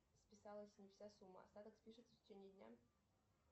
списалась не вся сумма остаток спишется в течении дня